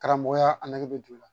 Karamɔgɔya a nge du la